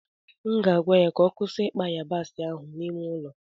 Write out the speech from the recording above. m ga-agwa ya ka ọ kwụsị ikpa sa yabasi ahụ n'ime ụlọ